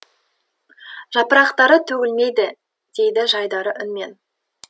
жапырақтары төгілмейді деді жайдары үнмен